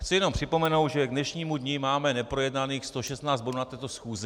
Chci jenom připomenout, že k dnešnímu dni máme neprojednaných 116 bodů na této schůzi.